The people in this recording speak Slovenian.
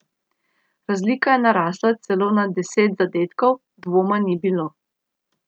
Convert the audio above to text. Razlika je narasla celo na devet zadetkov, dvoma ni bilo.